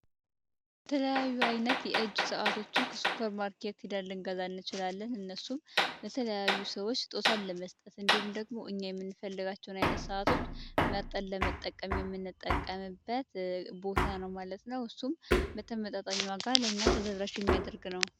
የተለያዩ አይነት የእጅ ሰዓቶችን ከሱፐር ማርኬት ሂደን ልንገዛ እንችላለን እነሱም ለተለያዩ ሰዎች ስጦታ ለመስጠት እንዲሁም ኛኘ የምንፈልጋቸውን አይነት ሰዓቶች መርጠን የምንጠቀምበት ቦታ ነው ማለት ነው። እሱም በተመጣጣኝ ዋጋ ለኛ ተደራሽ የሚያደርግ ነው ማለት ነው።